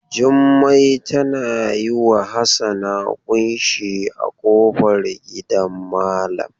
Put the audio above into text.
Jummai tana yi wa Hassana ƙunshi a ƙofar gidan malam.